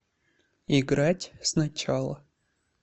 играть сначала